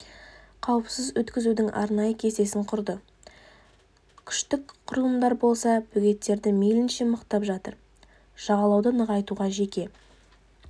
қауіпсіз өткізудің арнайы кестесін құрды күштік құрылымдар болса бөгеттерді мейлінше мықтап жатыр жағалауды нығайтуға жеке